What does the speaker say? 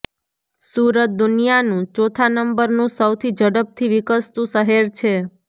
સુરત દુનિયાનું ચોથા નંબરનંુ સૌથી ઝડપથી વિકસતંુ શહેર છે